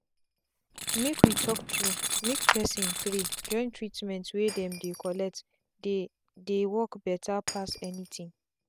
make we talk true make person pray join treatment wey dem dey collect dey dey work better pass anything.